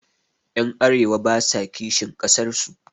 Ƴan arewa basa kishin ƙasar su